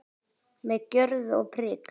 Með gjörð og prik.